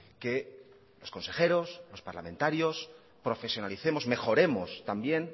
que los consejeros y los parlamentarios profesionalicemos y mejoremos también